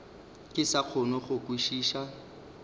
ke sa kgone go kwešiša